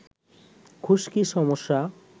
খুশকি সমস্যা